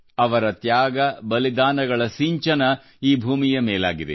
ಅವರ ತ್ಯಾಗಬಲಿದಾನಗಳ ಸಿಂಚನ ಈ ಭೂಮಿಯ ಮೇಲಾಗಿದೆ